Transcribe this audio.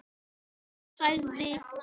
Hún sagði: